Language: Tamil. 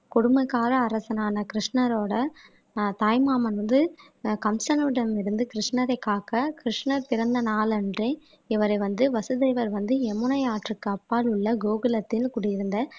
கொடுமைக்கார அரசனான கிருஷ்ணரோட ஆஹ் தாய்மாமன் வந்து ஆஹ் கம்சனிடம் இருந்து கிருஷ்ணரை காக்க கிருஷ்ணர் பிறந்த நாளன்றே இவரை வந்து வசுதேவர் வந்து யமுனை ஆற்றுக்கு அப்பால் உள்ள கோகுலத்தில் குடியிருந்த